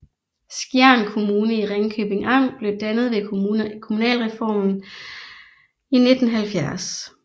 Skjern Kommune i Ringkøbing Amt blev dannet ved kommunalreformen i 1970